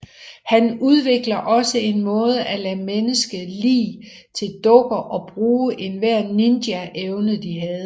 Han udvikler også en måde at lade menneske lig til dukker og bruge enhver ninja evne de havde